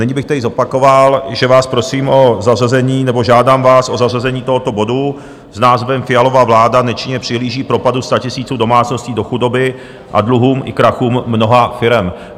Nyní bych tedy zopakoval, že vás prosím o zařazení nebo žádám vás o zařazení tohoto bodu s názvem Fialova vláda nečinně přihlíží propadu statisíců domácností do chudoby a dluhům i krachům mnoha firem.